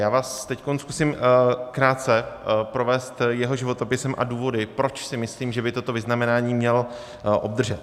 Já vás teď zkusím krátce provést jeho životopisem a důvody, proč si myslím, že by toto vyznamenání měl obdržet.